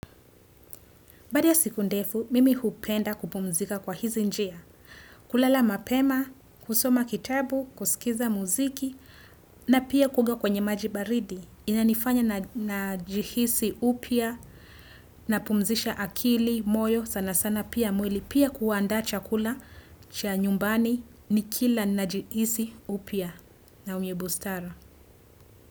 Baada ya siku ndefu, mimi hupenda kupumzika kwa hizi njia, kulala mapema, kusoma kitabu, kusikiza muziki, na pia kuoga kwenye maji baridi. Inanifanya najihisi upya, napumzisha akili, moyo, sana sana pia mwili, pia kuandaa chakula, cha nyumbani, nikila najihisi upya na mwenye bustara.